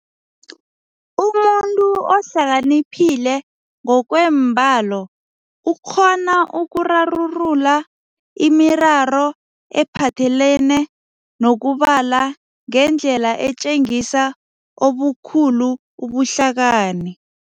Umuntu ohlaliphile ngokweembalo ukghona ukurarulula imiraro ephathelene nokubala ngendlela etjengisa obukhulu ubuhlakani.